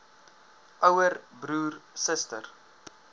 ouer broer suster